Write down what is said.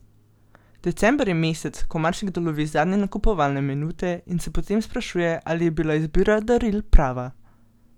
December je mesec, ko marsikdo lovi zadnje nakupovalne minute in se potem sprašuje, ali je bila izbira daril prava.